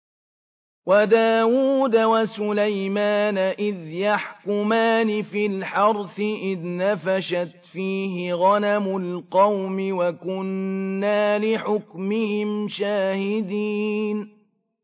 وَدَاوُودَ وَسُلَيْمَانَ إِذْ يَحْكُمَانِ فِي الْحَرْثِ إِذْ نَفَشَتْ فِيهِ غَنَمُ الْقَوْمِ وَكُنَّا لِحُكْمِهِمْ شَاهِدِينَ